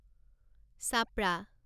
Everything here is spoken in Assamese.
চাপৰা